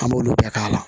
An b'olu bɛɛ k'a la